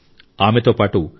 ఆమెతో పాటు ఆర్